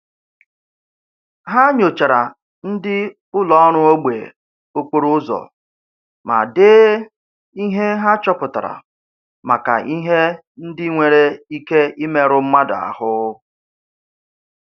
Ha nyochaara ndị ụlọ ọrụ ogbe okporo ụzọ ma dee ihe ha chọpụtara maka ihe ndị nwere ike imerụ mmadụ ahụ